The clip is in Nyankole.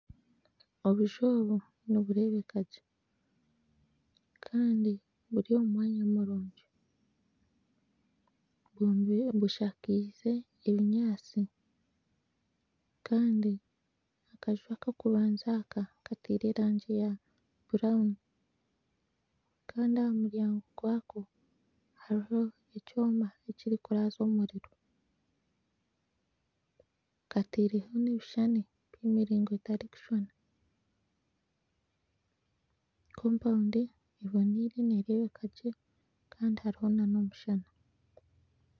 Obuju obu nibureebeka gye kandi buri omu mwanya murungi bushakaize obunyatsi kandi akaju akokubanza kateire erangi ya burawuni Kandi ahamuryango gwako hariho ekyoma ekirikuraza omuriro kateireho nebishushani byemiringo etarikushushana kompawundi eboneire nereebeka gye Kandi hariho nana omushana